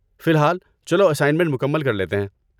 فی الحال، چلو اسائنمنٹ مکمل کر لیتے ہیں۔